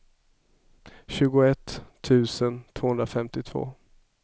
tjugoett tusen tvåhundrafemtiotvå